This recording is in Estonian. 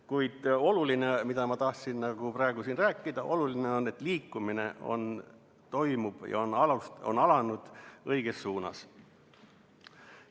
Kuid oluline on, seda ma tahtsin praegu siin rääkida, et liikumine toimub ja on alanud õiges suunas.